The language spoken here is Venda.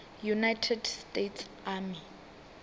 united states army